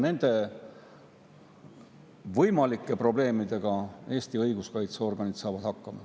Võimalike probleemidega saavad Eesti õiguskaitseorganid hakkama.